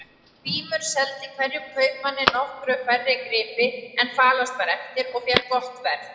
Grímur seldi hverjum kaupmanni nokkru færri gripi en falast var eftir og fékk gott verð.